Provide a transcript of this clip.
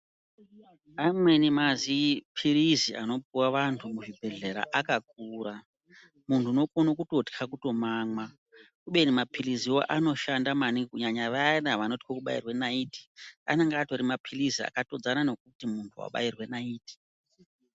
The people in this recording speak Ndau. Amweni mazi phirizi anopuwa vantu muzvibhedhlera akakura. Munhu unokono kutotya kutomamwa kubeni maphirizi iwayo anoshanda maningi kunyanya vayana vanotyo kubairwe nayiti anenge atori maphirizi akatodzana nekuti munhu wabairwe nayiti